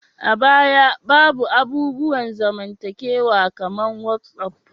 A baya, babu abubuwan zamantakewa kamar whatsap